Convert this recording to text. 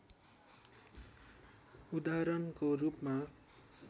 उदाहरणको रूपमा